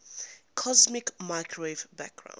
cosmic microwave background